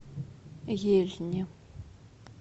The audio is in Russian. ельне